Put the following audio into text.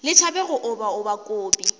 le tšhabe go obaoba kobi